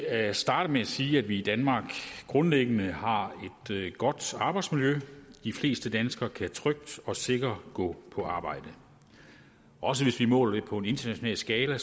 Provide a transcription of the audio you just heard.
at starte med at sige at vi i danmark grundlæggende har et godt arbejdsmiljø de fleste danskere kan trygt og sikkert gå på arbejde også hvis vi måler det på en international skala